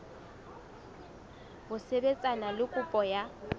ho sebetsana le kopo ya